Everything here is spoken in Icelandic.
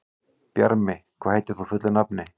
Bjarmi, hvað heitir þú fullu nafni?